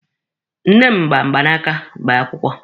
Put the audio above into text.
Nne m gba mgbanaka gbaa akwụkwọ.